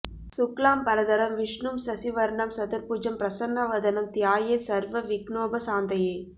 சுக்லாம் பரதரம் விஷ்ணும் சசிவர்ணம் சதுர்ப்புஜம் ப்ரசன்ன வதனம் த்யாயேத் சர்வ விக்நோப சாந்தயே